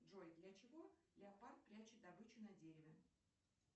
джой для чего леопард прячет добычу на дереве